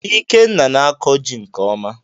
Ikenna na-akọ jị nke ọma